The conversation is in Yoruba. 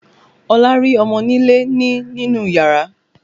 Olá rí ọmọnilé ni nínú yàrá